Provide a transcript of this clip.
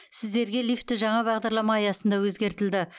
сіздерге лифті жаңа бағдарлама аясында өзгертілді